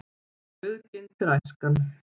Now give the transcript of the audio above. Auðginnt er æskan.